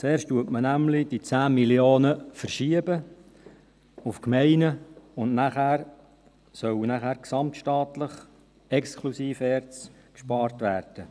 Zuerst verschiebt man nämlich die 10 Mio. Franken in die Gemeinden, und nachher soll gesamtstaatlich exklusive ERZ gespart werden.